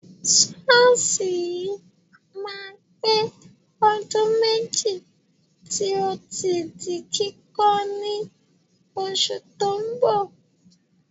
Ṣọ́ọ̀ṣì yìí máa pé ọdún méjì tí ó ti di kíkọ́ ní oṣù tó ń bọ̀.